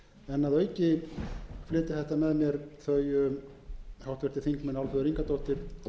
en að auki flytja þetta með mér þau háttvirtir þingmenn álfheiður ingadóttir